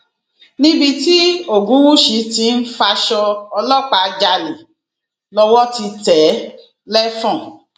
níbi tí ògúnwúsì tí ń faṣọ ọlọpàá jalè lọwọ ti tẹ ẹ lẹfọn